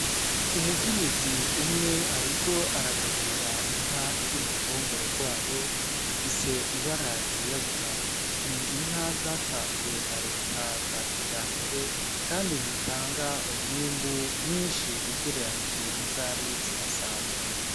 Umukenyizi umwe, ariko aragaburira inka iri mu ruhongore rwayo ifise ibara ryirabura ni inka zatanzwe na leta za kija mbere, kandi zitanga umwimbu mwinshi ugereranije ni zari zihasanzwe.